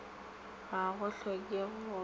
ga go hlokege go ka